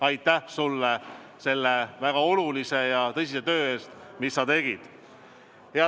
Aitäh sulle selle väga olulise ja tõsise töö eest, mis sa tegid!